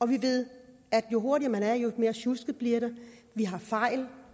vi ved at jo hurtigere man er jo mere sjusket bliver det vi har fejl